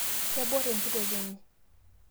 kebor enkitok enye